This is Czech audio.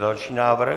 Další návrh.